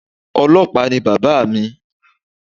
Ọlọ́pàá ni bàbáa mi